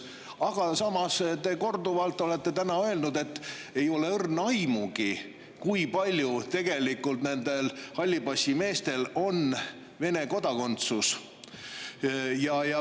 Aga samas olete täna korduvalt öelnud, et teil ei ole õrna aimugi, kui paljudel nendest hallipassimeestest on tegelikult Vene kodakondsus.